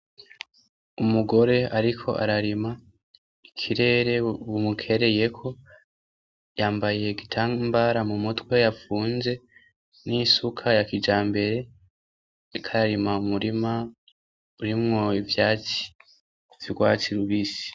Umugore ariko ararima, ikirere bumukereyeko, yambaye igitambara mu mutwe yapfunze n'isuka ya kijambere, ariko ararima umurima urimwo ivyatsi vy'urwatsi rubisi.